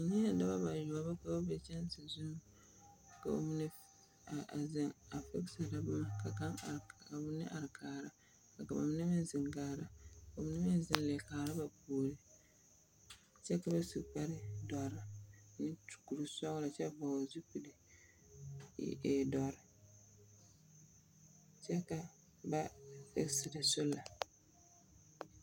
Nyɛɛ noba bayoɔbo ka be kyanse zuŋ, ka ba mine a a zeŋ a … boma, ka kaŋ are, ka ba mine are k kaara, ka ba mine meŋ zeŋ kaara, ka ba mine meŋ zeŋ leɛ kaara ba puori. Kyɛ ka bas u kpare dɔre … meŋ su kuri sɔgelɔ kyɛ vɔgele zupile ee ee dɔre. Kyɛ ba fegeserɛ sola.